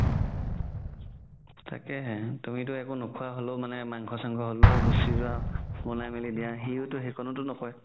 তাকেই তুমিটো একো নোখুৱা হ'লেও মানংখ চানংখ হ'লেও গুচি যুৱা বনাই মিলি দিয়া সিতো সেইকননোতো নকই